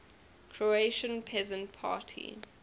croatian peasant party